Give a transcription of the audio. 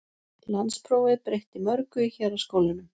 Landsprófið breytti mörgu í héraðsskólunum.